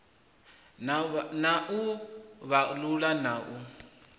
na u vhalulula na u